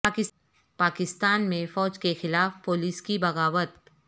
پاکستان میں فوج کے خلاف پولیس کی بغاوت